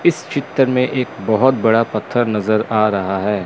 इस चित्र में एक बहोत बड़ा पत्थर नजर आ रहा है।